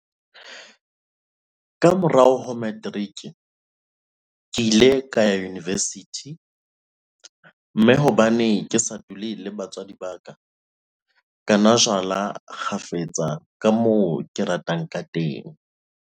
Ka morao ho materiki, ke ile ka ya univesithi, mme hobane ke sa dule le batswadi ba ka, ka nwa jwala kgafetsa ka moo ke ratang kateng.